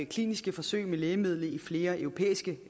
kliniske forsøg med lægemidlet i flere europæiske